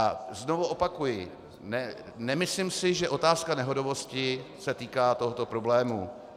A znovu opakuji, nemyslím si, že otázka nehodovosti se týká tohoto problému.